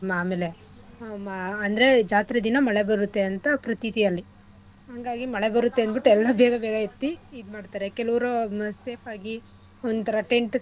ಅಮೇಲೆ ಆಹ್ ಮ ಅಂದ್ರೆ ಜಾತ್ರೆ ದಿನ ಮಳೆ ಬರುತ್ತೆ ಅಂತ ಪ್ರತೀತಿ ಅಲ್ಲಿ ಹಂಗಾಗಿ ಮಳೆ ಬರುತ್ತೆ ಅಂದ್ಬಿಟ್ ಎಲ್ಲಾ ಬೇಗ ಬೇಗ ಎತ್ತಿ ಇದ್ಮಾಡ್ತಾರೆ ಕೆಲವ್ರು safe ಆಗಿ ಒಂಥರಾ tent ಥರಾ.